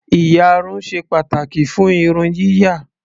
Ìyarun ṣe pàtàkì fún irun yíyà.